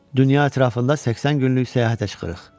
Dünya ətrafında 80 günlük səyahətə çıxırıq.